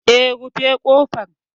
Eh, rufe ƙofar.